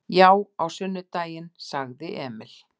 Já, á sunnudaginn, sagði Emil.